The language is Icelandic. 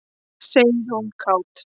sagði hún kát.